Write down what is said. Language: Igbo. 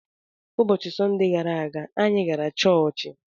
Ụbọchị Sọnde gara aga, anyị gara chọọchị.